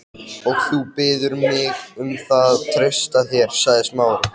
Og þú biður mig um að treysta þér- sagði Smári.